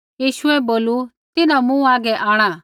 यीशुऐ बोलू तिन्हां मूँ हागै आंणा